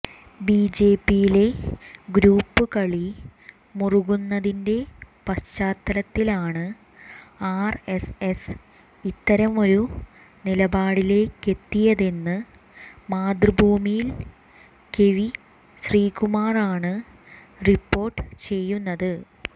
ബിജെപിയിലെ ഗ്രൂപ്പുകളി മുറുകുന്നതിന്റെ പശ്ചാത്തലത്തിലാണ് ആർഎസ്എസ് ഇത്തരമൊരു നിലപാടിലേക്കെത്തിയതെന്ന് മാതൃഭൂമിയിൽ കെവി ശ്രീകുമാറാണ് റിപ്പോർട്ട് ചെയ്യുന്നത്